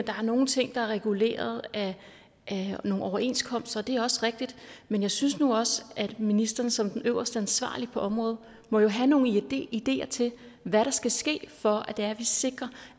er nogle ting der er reguleret af nogle overenskomster det er også rigtigt men jeg synes nu også at ministeren som den øverst ansvarlige på området må have nogle ideer til hvad der skal ske for at sikre